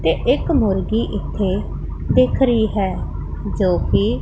ਤੇ ਇੱਕ ਮੁਰਗੀ ਇੱਥੇ ਦਿਖ ਰਹੀ ਹੈ ਜੋਕਿ--